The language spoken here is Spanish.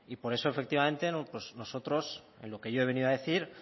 por eso efectivamente nosotros en lo que yo he venido a decir